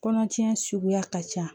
Kɔnɔtiɲɛ suguya ka ca